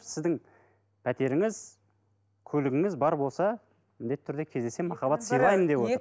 сіздің пәтеріңіз көлігіңіз бар болса міндетті түрде кездесемін махаббат сыйлаймын деп отыр